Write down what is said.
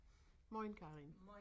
Mojn Karin